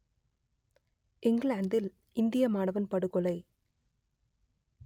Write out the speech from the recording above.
இங்கிலாந்தில் இந்திய மாணவன் படுகொலை